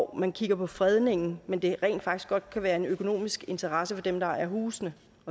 man kigger på fredningen men der kan rent faktisk godt være en økonomisk interesse for dem der ejer husene